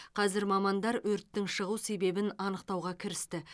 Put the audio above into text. қазір мамандар өрттің шығу себебін анықтауға кірісті